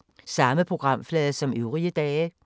Samme programflade som øvrige dage